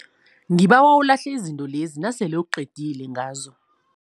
Ngibawa ulahle izinto lezi nasele uqedile ngazo.